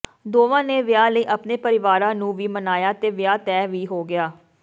ਦੋਵਾਂ ਨੇ ਵਿਆਹ ਲਈ ਆਪਣੇ ਪਰਿਵਾਰਾਂ ਨੂੰ ਵੀ ਮਨਾਇਆ ਤੇ ਵਿਆਹ ਤੈਅ ਵੀ ਹੋ ਗਿਆ